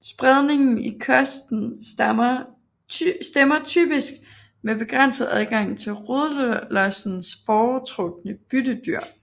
Spredning i kosten stemmer typisk med begrænset adgang til rødlossens foretrukne byttedyr